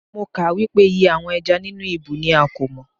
Mo kà á wípé iye àwọn ẹja nínú ibú ni a kò mọ̀.